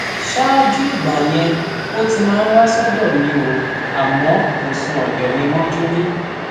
ṣáájú ìgbà yẹn ò ti máa ń wá sọdọ mi o àmọ kò sùn ọdọ mi mọjú rí